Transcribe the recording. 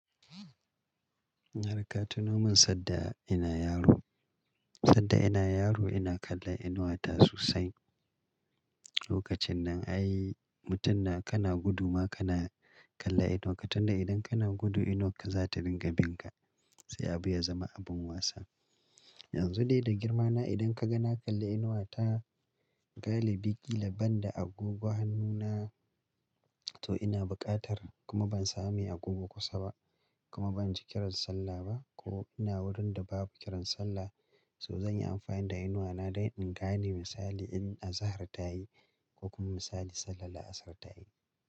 Na rika tunomin sadda ina yaro. Sadda ina yaro ina kalla inuwa ta sosai. Lokacin nan ai mutum na kana gudu ma kana kalla inuwa ka, tunda idan kana gudu inuwa ka za ta dinga bin ka sai abu ya zama abin wasa. Yanzu dai da girma na idan ka ga na kalli inuwa ta galibi ƙila banda agoggo hannu na to ina buƙatar kuma ban sami agoggo kusa ba kuma ban ji kiran sallah ba ko ina wurin da babu kiran sallah so zan yi amfani da inuwa na dai in gane misali in azahar ta yi ko kuma misali sallah la'asar ta yi.